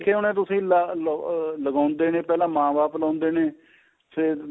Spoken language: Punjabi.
ਦੇਖੇ ਹੋਣੇ ਤੁਸੀਂ ਲਾ ਲੋ ਲਗਾਉਂਦੇ ਨੇ ਪਹਿਲਾਂ ਮਾਂ ਬਾਪ ਲਾਉਂਦੇ ਨੇ ਫੇਰ